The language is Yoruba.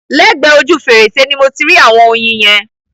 Lẹ́gbẹ ojú fèrèsé ni mo ti rí ạ̀wọn oyin yẹn.